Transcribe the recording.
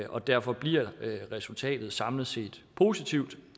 og derfor bliver resultatet samlet set positivt